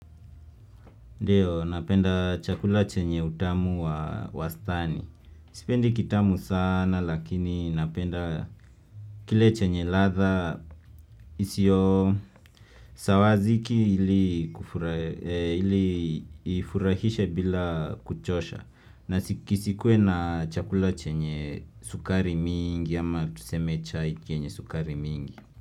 Ndio, napenda chakula chenye utamu wa wastani. Sipendi kitamu saana, lakini napenda kile chenye ladha, isiyo sawaziki ili ifurahishe bila kuchosha. Na kisikue na chakula chenye sukari miingi, ama tuseme chai kenye sukari mingi.